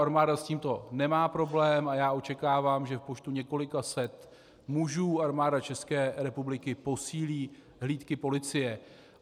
Armáda s tímto nemá problém a já očekávám, že v počtu několika set mužů Armáda České republiky posílí hlídky policie.